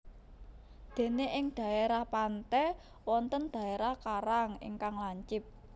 Dene ing dhaerah pante wonten dherah karang ingkang lancip